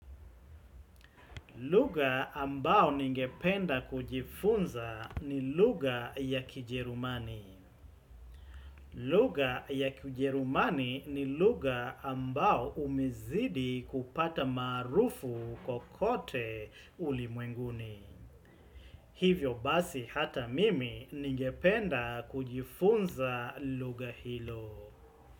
Lugha ambao ningependa kujifunza ni lugha ya kijerumani. Lugha ya kiujerumani ni lugha ambao umezidi kupata maarufu kokote ulimwenguni. Hivyo basi hata mimi ningependa kujifunza lugha hilo.